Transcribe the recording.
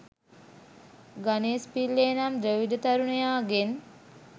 ගනේෂ් පිල්ලේ නම් ද්‍රවිඩ තරුණයාගේන්